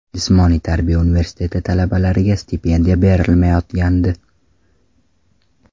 Jismoniy tarbiya universiteti talabalariga stipendiya berilmayotgandi.